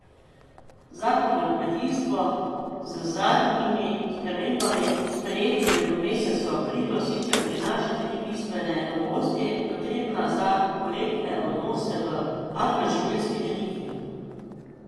Zakon o kmetijstvu z zadnjimi spremembami, sprejetimi v mesecu aprilu, sicer prinaša tri bistvene novosti potrebne za korektne odnose v agroživilski verigi.